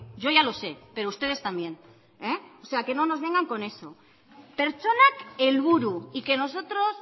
yo ya lo sé pero ustedes también o sea que no nos vengan con eso pertsonak helburu y que nosotros